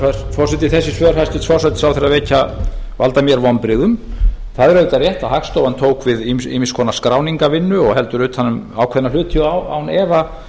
herra forseti þessi svör hæstvirtur forsætisráðherra valda mér vonbrigðum það er auðvitað rétt að hagstofan tók við ýmiss konar skráningarvinnu og heldur utan um ákveðna hluti og án efa